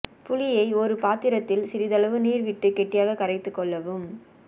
புளியை ஒரு பாத்திரத்தில் சிறிதளவு நீர் விட்டு கெட்டியாக கரைத்துக் கொள்ளவும்